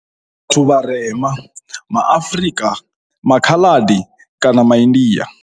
Vhathu vharema, ma Afrika, ma Khaladi kana ma India.